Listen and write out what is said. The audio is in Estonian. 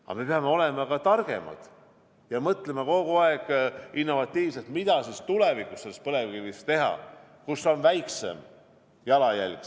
Aga me peame olema ka targemad ja mõtlema kogu aeg innovatiivselt, mida tulevikus põlevkivist teha, kus on väiksem jalajälg.